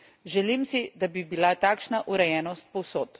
Želim si, da bi bila takšna urejenost povsod.